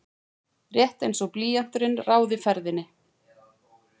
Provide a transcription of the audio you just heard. Rétt einsog blýanturinn ráði ferðinni.